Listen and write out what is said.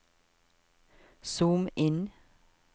zoom inn